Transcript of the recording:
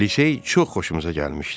Lisey çox xoşumuza gəlmişdi.